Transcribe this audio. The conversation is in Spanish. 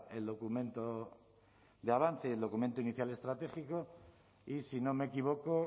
el documento de avance y el documento inicial estratégico y si no me equivoco